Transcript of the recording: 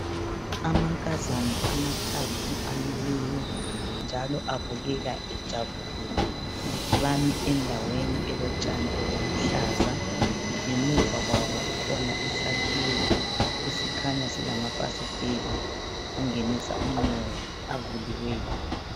amankazana amathathu amileyo njalo abukeka ejabulile bami endaweni elotshani obuluhlaza ngemuva kwabo kukhona isakhiwo esikhanya silamafasiteli angenisa umoya avuliweyo